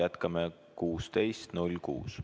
Jätkame kell 16.06.